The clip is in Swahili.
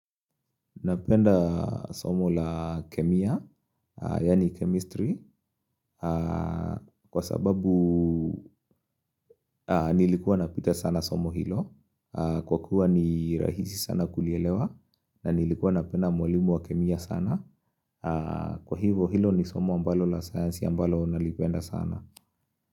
Napenda somo la kemia yani chemistry kwa sababu Nilikuwa napita sana somo hilo kwa kuwa ni rahisi sana kulielewa na nilikuwa napenda mwalimu wa kemia sana. Kwa hivo hilo ni somo la sayansi ambalo ninalipenda sana.